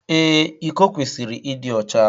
Ee, iko kwesịrị ịdị ọcha